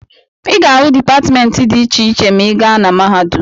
Ị ga-ahụ dipatịmentị dị iche iche ma ị gaa na mahadum.